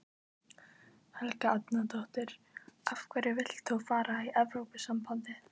Helga Arnardóttir: Af hverju vilt þú fara í Evrópusambandið?